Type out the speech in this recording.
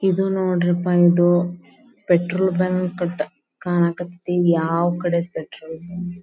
ಇದು ನೋಡ್ರಿ ಅಪ ಇದು ಪೆಟ್ರೋಲ್ ಬಂಕ್ ಕಣಕ್ ಹತ್ತಿ ಯಾವಕಡೆ ಪೆಟ್ರೋಲ್ ಬಂಕ್ .